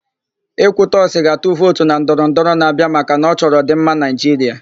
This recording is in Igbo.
Ekwutọsị ga-atụ vootu na ndọrọndọrọ na-abịa maka na ọ chọrọ ọ̀dị̀mma Naịjiria.